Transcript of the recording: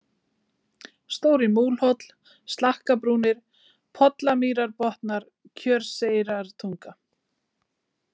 Stóri-Múlhóll, Slakkabrúnir, Pollamýrarbotnar, Kjörseyrartunga